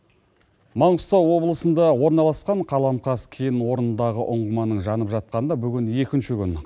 маңғыстау облысында орналасқан қаламқас кен орнындағы ұңғыманың жанып жатқанына бүгін екінші күн